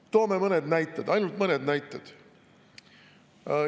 Toome mõned näited, ainult mõned näited.